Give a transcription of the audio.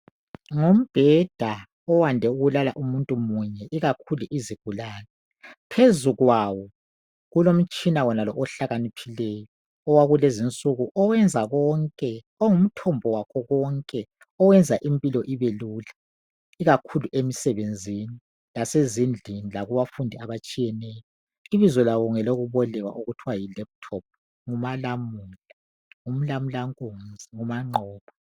Ngumbheda oyande ukulala umuntu munye. Ikakhulu izigulane, phezu kwawo kulomtshina wonalo ohlakaniphileyo owakulezinsuku oyenza konke. Ongumthombo wakho konke, oyenza impilo ibelula. Ikakhulu emsebenzini, lasezindlini lakubafundi abatshiyeneyo. Ibizo lawo ngelokubolekwa okuthiwa yi lephuthophu ngumalamula umlamulankunzi umanqoba.